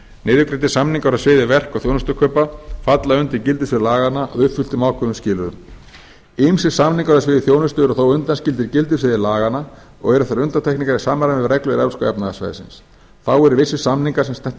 niðurgreiddir samningar á sviði verk og þjónustukaupa falla undir gildissvið laganna að uppfylltum ákveðnum skilyrðum ýmsir samningar á sviði þjónustu eru þó undanskildir gildissviði laganna og eru þær undantekningar í samræmi við reglur evrópska efnahagssvæðisins þá eru vissir samningar sem snerta